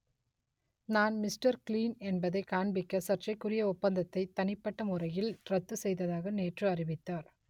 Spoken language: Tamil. நான் மிஸ்டர் க்ளீன் என்பதை காண்பிக்க சர்ச்சைக்குரிய ஒப்பந்தத்தை தனிப்பட்ட முறையில் ரத்து செய்ததாக நேற்று அறிவித்தார்